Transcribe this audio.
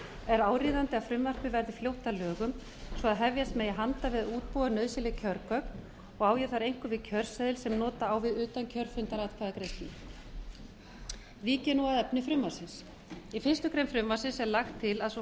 er áríðandi að frumvarpið verði fljótt að lögum svo hefjast megi handa við að útbúa nauðsynleg kjörgögn og á ég þar einkum við kjörseðil sem nota á við utankjörfundaratkvæðagreiðslu vík ég nú að efni frumvarpsins í fyrstu grein frumvarpsins er lagt til að svo